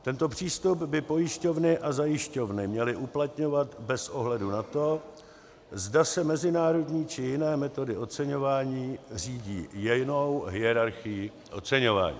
Tento přístup by pojišťovny a zajišťovny měly uplatňovat bez ohledu na to, zda se mezinárodní či jiné metody oceňování řídí jinou hierarchií oceňování.